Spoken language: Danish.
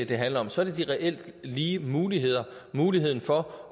det handler om så er det de reelt lige muligheder muligheden for